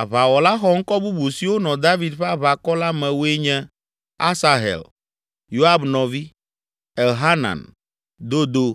Aʋawɔla xɔŋkɔ bubu siwo nɔ David ƒe aʋakɔ la me woe nye: Asahel, Yoab nɔvi; Elhanan, Dodo